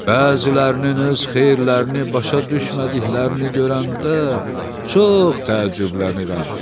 Bəzilərinin öz xeyirlərini başa düşmədiklərini görəndə çox təəccüblənirəm.